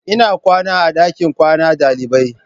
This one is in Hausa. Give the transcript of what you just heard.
Ina kwana a dakin kwana dalibai.